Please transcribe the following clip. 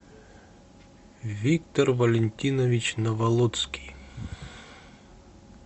виктор валентинович наволоцкий